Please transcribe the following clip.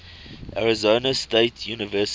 arizona state university